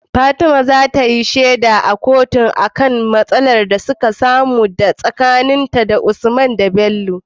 fatima zatayi sheda a kotun, akan matsalar da aka samun tsakanin usman da Bello